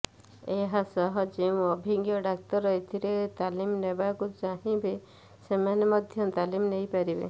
ଏହାସହ ଯେଉଁ ଅଭିଜ୍ଞ ଡାକ୍ତର ଏଥିରେ ତାଲିମ ନେବାକୁ ଚାହିବେ ସେମାନେ ମଧ୍ୟ ତାଲିମ୍ ନେଇପାରିବେ